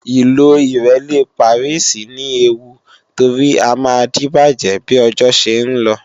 Ìlo Ìrẹ́lé Pàríìsì ní ewu torí á máa díbàjẹ́ bí ọjọ́ ṣe ń lọ